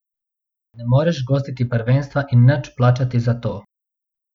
Ne moreš gostiti prvenstva in nič plačati za to.